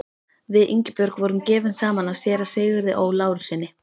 Við Ingibjörg voru gefin saman af séra Sigurði Ó. Lárussyni.